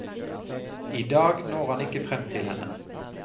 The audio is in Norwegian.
I dag når han ikke frem til henne.